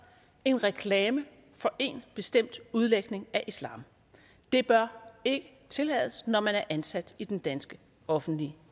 en reklame for en bestemt udlægning af islam det bør ikke tillades når man er ansat i den danske offentlige